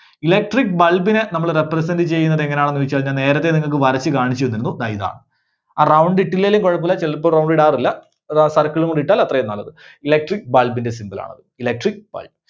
Electric Bulb നെ നമ്മള് represent ചെയ്യുന്നത് എങ്ങനാണെന്ന് ചോദിച്ചു കഴിഞ്ഞാൽ നേരത്തെ നിങ്ങൾക്ക് വരച്ചു കാണിച്ചുതന്നിരുന്നു, ദാ ഇതാണ്. ആ round ഇട്ടില്ലേലും കുഴപ്പമില്ല ചിലപ്പോ round ഇടാറില്ല ആ circle ഉം കൂടി ഇട്ടാൽ അത്രയും നല്ലത്. Electric Bulb ന്റെ symbol ണത്. Electric Bulb.